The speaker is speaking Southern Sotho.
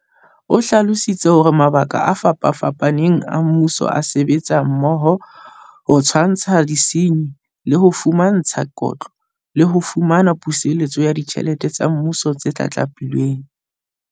O hlalositse hore makala a fapafapaneng a mmuso a sebetsa mmoho ho tshwantsha disenyi, le ho di fumantsha kotlo, le ho fumana puseletso ya ditjhelete tsa Mmuso tse tlatlapilweng.